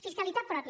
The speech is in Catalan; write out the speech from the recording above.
fiscalitat pròpia